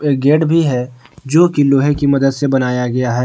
एक गेट भी है जोकि लोहे की मदद से बनाया गया है।